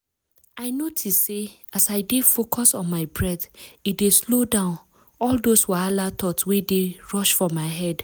i notice say as i dey focus on my breath e dey slow down all those wahala thought wey dey rush for my head.